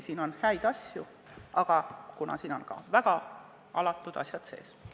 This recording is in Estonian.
Siin on häid asju, aga siin on ka väga alatud asjad sees.